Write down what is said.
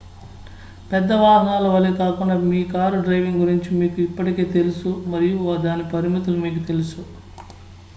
పెద్ద వాహనాల వలే కాకుండా మీ కారు డ్రైవింగ్ గురించి మీకు ఇప్పటికే తెలుసు మరియు దాని పరిమితులు మీకు తెలుసు